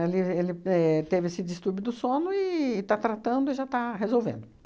Ele ele éh teve esse distúrbio do sono e está tratando e já está resolvendo.